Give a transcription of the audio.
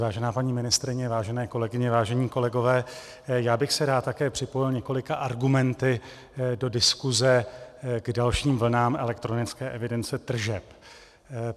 Vážená paní ministryně, vážené kolegyně, vážení kolegové, já bych se rád také připojil několika argumenty do diskuse k dalším vlnám elektronické evidence tržeb.